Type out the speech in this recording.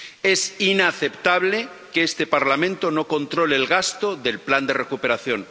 Es inaceptable que este Parlamento no controle el gasto del plan de recuperación.